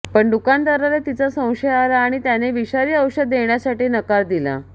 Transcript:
पण दुकानदाराला तिचा संशय आला आणि त्याने विषारी औषध देण्यासाठी नकार दिला